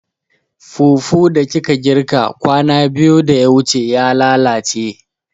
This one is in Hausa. Fufu da kika girka kwana biyu da ya wuce ya lalace